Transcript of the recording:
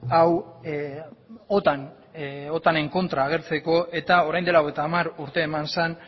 hau otanen kontra agertzeko eta orain dela hogeita hamar urte eman zen